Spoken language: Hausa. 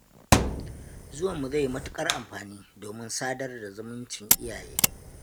Zuwanmu zai yi matuƙar amfani domin sadar da zumuncin iyaye.